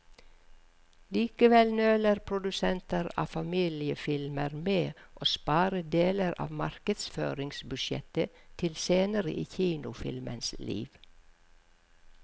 Likevel nøler produsenter av familiefilmer med å spare deler av markedsføringsbudsjettet til senere i kinofilmens liv.